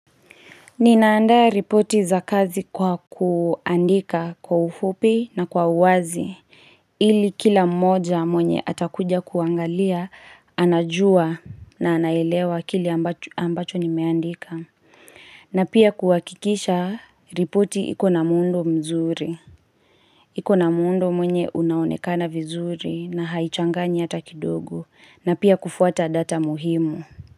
Ninaandaa ripoti za kazi kwa kuandika kwa ufupi na kwa uwazi ili kila mmoja mwenye atakuja kuangalia anajua na anaelewa kile ambacho nimeandika. Na pia kuhakikisha ripoti ikona muundo mzuri iko na muundo mwenye unaonekana vizuri na haichanganyi hata kidogo na pia kufuata data muhimu.